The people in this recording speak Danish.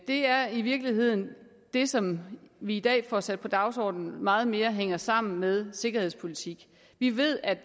er i virkeligheden det som vi i dag får sat på dagsordenen der meget mere hænger sammen med sikkerhedspolitik vi ved at